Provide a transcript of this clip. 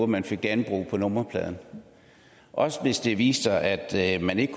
man fik dannebrog på nummerpladen også hvis det viser sig at man ikke